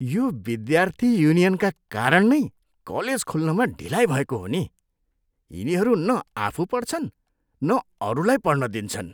यो विद्यार्थी युनियनका कारण नै कलेज खुल्नमा ढिलाइ भएको हो नि। यिनीहरू न आफू पढ्छन्, न अरूलाई पढ्न दिन्छन्!